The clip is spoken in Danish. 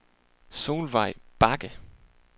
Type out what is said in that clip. Solveig Bagge